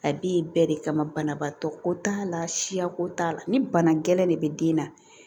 A b'i bɛɛ de kama banabaatɔ ko t'a la siyako t'a la ni bana gɛlɛnɛn de bɛ den na